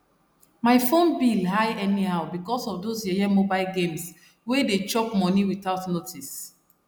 my phone bill high anyhow because of those yeye mobile games wey dey chop money without notice